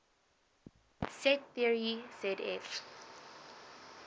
set theory zf